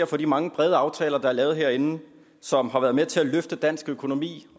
for de mange brede aftaler der er lavet herinde og som har været med til at løfte dansk økonomi